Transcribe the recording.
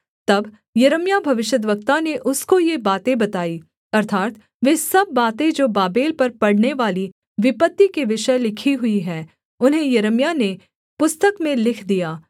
तब यिर्मयाह भविष्यद्वक्ता ने उसको ये बातें बताई अर्थात् वे सब बातें जो बाबेल पर पड़नेवाली विपत्ति के विषय लिखी हुई हैं उन्हें यिर्मयाह ने पुस्तक में लिख दिया